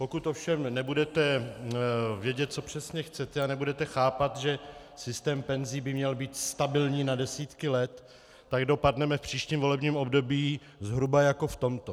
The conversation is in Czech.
Pokud ovšem nebudete vědět, co přesně chcete, a nebudete chápat, že systém penzí by měl být stabilní na desítky let, tak dopadneme v příštím volebním období zhruba jako v tomto.